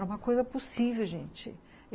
Era uma coisa possível, gente.